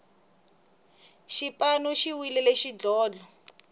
xipanu xi winile xidlodlo